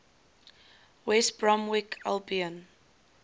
west bromwich albion